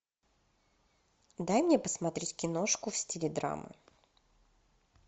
дай мне посмотреть киношку в стиле драма